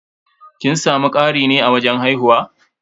Kin samu ƙari ne a wajen haihuwa?